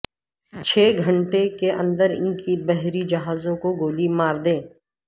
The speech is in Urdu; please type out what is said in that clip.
چھ گھنٹے کے اندر ان کی بحری جہازوں کو گولی مار دیں